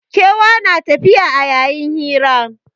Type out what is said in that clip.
Kewa na tafiya a yayin hira